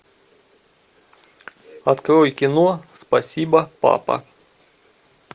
открой кино спасибо папа